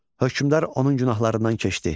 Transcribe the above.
Hökmdar onun günahlarından keçdi.